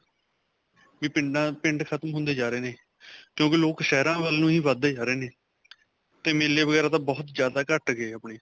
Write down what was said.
ਕਿ ਪਿੰਡਾ, ਪਿੰਡ ਖਤਮ ਹੁੰਦੇ ਜਾ ਰਹੇ ਨੇ, ਕਿਓਕਿ ਲੋਕ ਸ਼ਹਿਰਾਂ ਵੱਲ ਨੂੰ ਹੀ ਵਧਦੇ ਜਾ ਰਹੇ ਨੇ 'ਤੇ ਮੇਲੇ ਵਗੈਰਾਂ ਤਾ ਬਹੁਤ ਜਿਆਦਾ ਘਟ ਗਏ ਅਪਨੇ.